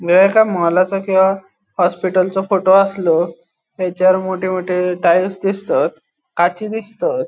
मोलाचो किंवा हॉस्पिटलचो फोटो आसलो ताचेर मोठे मोठे टाइल्स दिसतात काची दिसतत.